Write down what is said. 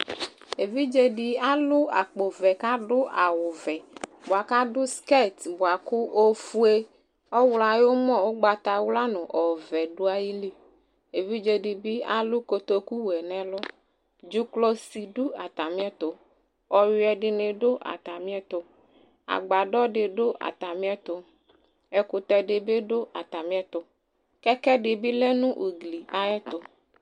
Evidze dɩ alʋ akpovɛ kʋ adʋ awʋvɛ bʋa kʋ adʋ skɛt bʋa kʋ ofue, ɔɣlɔ ayʋ ʋmɔ, ʋgbatawla nʋ ɔvɛ dʋ ayili Evidze dɩ bɩ alʋ kotokuwɛ nʋ ɛlʋ Dzʋklɔsi dʋ atamɩɛtʋ Ɔyʋɛ dɩnɩ dʋ atamɩɛtʋ Agbadɔ dɩ dʋ atamɩɛtʋ Ɛkʋtɛ dɩ bɩ dʋ atamɩɛtʋ Kɛkɛ dɩ bɩ lɛ nʋ ugli ayɛtʋ